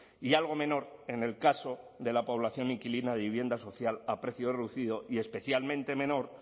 y algo menor en el caso de la población inquilina de vivienda social a precio reducido y especialmente menor